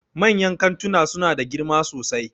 Manyan kantuna suna da girma sosai